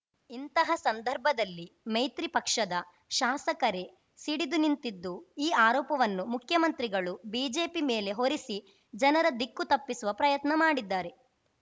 ಇಂತಹ ಸಂದರ್ಭದಲ್ಲಿ ಮೈತ್ರಿ ಪಕ್ಷದ ಶಾಸಕರೆ ಸಿಡಿದು ನಿಂತಿದ್ದು ಈ ಆರೋಪವನ್ನು ಮುಖ್ಯಮಂತ್ರಿಗಳು ಬಿಜೆಪಿ ಮೇಲೆ ಹೋರಿಸಿ ಜನರ ದಿಕ್ಕು ತಪ್ಪಿಸುವ ಪ್ರಯತ್ನ ಮಾಡಿದ್ದಾರೆ